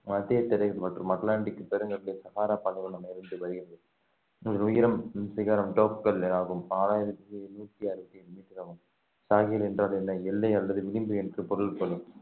மத்திய திரை மற்றும் அட்லாண்டிக் பெருங்கடலை சகாரா பாலைவனம் வருகிறது இதன் உயரம் சிகரம் டோப்கல் ஆகும் நாலாயிரத்தி நூத்தி அறுபத்தேழு மீட்டர் ஆகும் ஷாஹில் என்றால் என்ன எல்லை அல்லது விளிம்பு என்று பொருள் கொள்ளும்